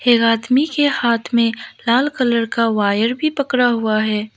एक आदमी के हाथ में लाल कलर का वायर भी पकड़ा हुआ है।